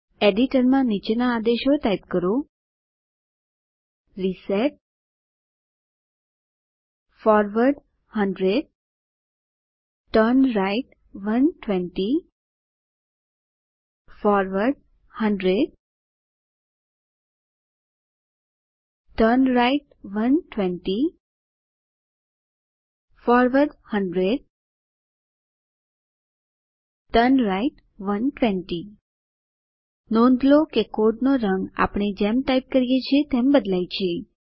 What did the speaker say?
એડિટરમાં નીચેના આદેશો ટાઇપ કરો160 reset forward 100 turn right 120 forward 100 turn right 120 forward 100 turn right 120 નોંધ લો કે કોડનો રંગ આપણે જેમ ટાઇપ કરીએ છીએ તેમ બદલાય છે